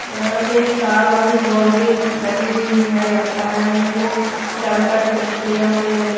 यहां पे तार वाली बाउंड्री लगी हुई है लगता है नहीं तो चारों साइड छोटे छोटे यहां पेए--